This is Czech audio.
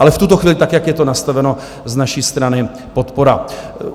Ale v tuto chvíli tak, jak je to nastaveno, z naší strany podpora.